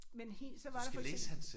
Men hel så var der for eksempel